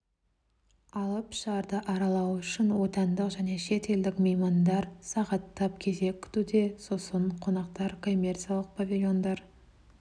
алып шарды аралау үшін отандық және шетелдік меймандар сағаттап кезек күтуде сосын қонақтар коммерциялық павильондар